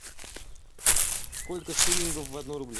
сколько шиллингов в одном рубле